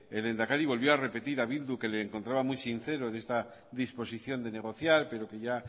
el lehendakari volvió a repetir a bildu que le encontraba muy sincero en esta disposición de negociar pero que ya